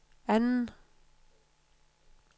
anden